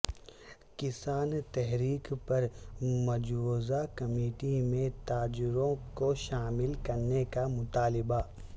کسان تحریک پر مجوزہ کمیٹی میں تاجروں کو شامل کرنے کا مطالبہ